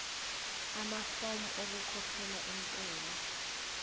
amafomu okukhokhela intela